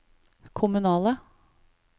kommunale